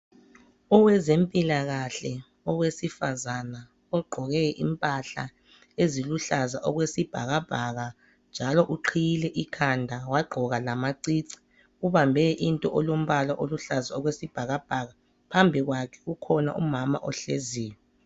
Owezempilakahle owesifazane ogqqoke impahla eziluhlaza okwesibhakabhaka njalo uqhiyile ekhanda wagqoka lamacici ubambe into elombala oluhlaza okwesibhakabhaka phmabi kwakhe ukhona umama ohleziyo